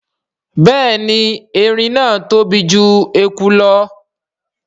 Béèni èrin náa tóbi jù ẹkú lọ.